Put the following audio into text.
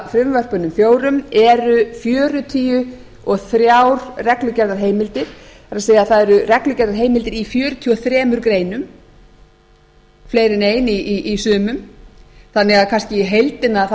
menntamálafrumvörpunum fjórum eru fjörutíu og þrjú reglugerðarheimildir það er það eru reglugerðarheimildir í fjörutíu og þremur greinum fleiri en ein í sumum þannig að kannski í heildina